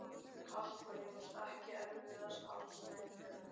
Kata Jóns Ekki erfiðasti andstæðingur?